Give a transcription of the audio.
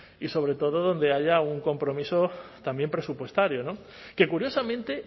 y sobre todo donde haya un compromiso también presupuestario que curiosamente